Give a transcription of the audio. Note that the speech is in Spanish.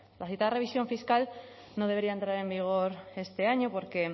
la citada revisión fiscal no debería entrar en vigor este año porque